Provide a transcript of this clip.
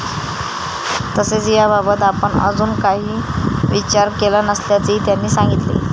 तसेच याबात आपण अजून काही विचार केला नसल्याचेही त्यांनी सांगितले.